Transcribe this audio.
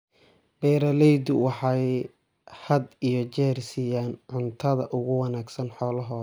Beeraleydu waxay had iyo jeer siiyaan cuntada ugu wanaagsan xoolahooda.